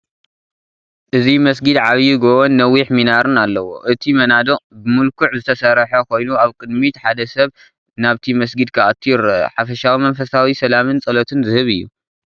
እዚ መስጊድ ዓቢ ጎቦን ነዊሕ ሚናርን ኣለዎ። እቲ መናድቕ ብምልኩዕ ዝተሰርሐ ኮይኑ ኣብ ቅድሚት ሓደ ሰብ ናብቲ መስጊድ ክኣቱ ይረአ። ሓፈሻዊ መንፈሳዊ ሰላምን ጸሎትን ዝህብ እዩ።